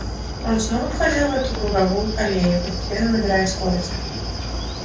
он снова входил в свою круговую колею постепенно набирая скорость